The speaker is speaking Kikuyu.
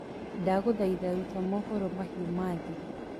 ndaguthaitha rũta mohoro mahĩũ ma thii